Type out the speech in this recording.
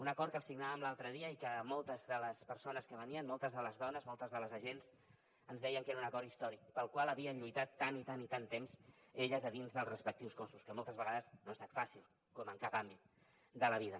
un acord que signàvem l’altre dia i que moltes de les persones que venien moltes de les dones moltes de les agents ens deien que era un acord històric pel qual havien lluitat tant i tant i tant temps elles a dins dels respectius cossos que moltes vegades no ha estat fàcil com en cap àmbit de la vida